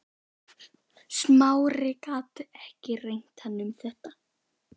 Smári gat ekki rengt hann um þetta.